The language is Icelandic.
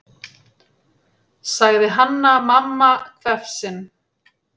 sagði Hanna-Mamma hvefsin.